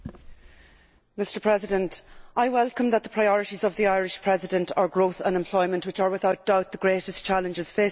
Mr President, I welcome that the priorities of the Irish Presidency are growth and employment, which are without doubt the greatest challenges facing the EU.